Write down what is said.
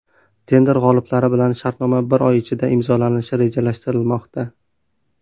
Tender g‘oliblari bilan shartnoma bir oy ichida imzolanishi rejalashtirilmoqda.